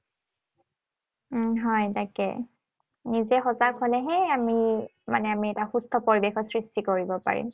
উম হয়, তাকে। নিজে সজাগ হলেহে আমি মানে আমি এটা সুস্থ পৰিৱেশৰ সৃষ্টি কৰিব পাৰিম।